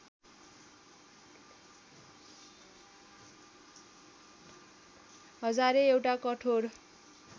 हजारे एउटा कठोर